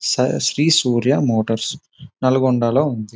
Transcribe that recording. స శ్రీ సూర్య మోటార్స్ నల్గొండలో ఉన్నది.